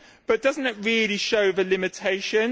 But does it not really show the limitations?